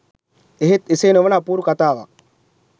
එහෙත් එසේ නොවන අපූරු කතාවක්